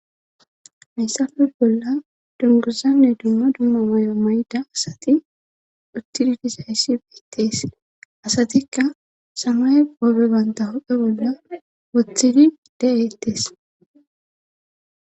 massafe bolla dunguzanne dumma dumma mayo mayda asati uttididizayssi beittees asatikka samay qoobe banta hophe bolla woththidi de7ettees